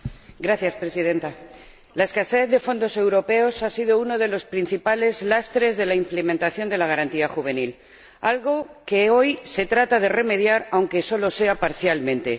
Señora Presidenta, la escasez de fondos europeos ha sido uno de los principales lastres de la implementación de la Garantía Juvenil, algo que hoy se trata de remediar, aunque solo sea parcialmente.